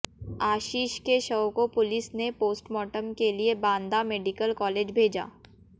आशीष के शव को पुलस ने पोस्टमार्टम के लिए बांदा मेडिकल कॉलेज भेजा